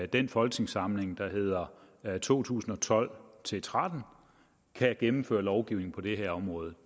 den folketingssamling der hedder to tusind og tolv til tretten kan gennemføre lovgivning på det her område